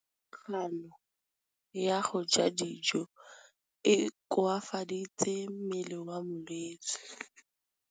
Kganô ya go ja dijo e koafaditse mmele wa molwetse.